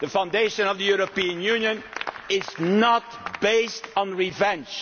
The foundation of the European Union is not based on revenge.